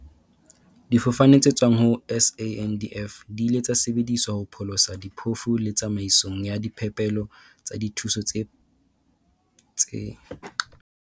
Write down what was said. Difofane tse tswang ho SANDF di ile tsa sebedisetswa ho pholosa diphofu le tsamaisong ya diphepelo tsa dithuso tse tse